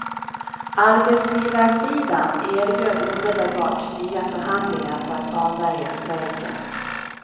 Arbetsgivarsidan erbjöd omedelbart nya förhandlingar för att avvärja strejken.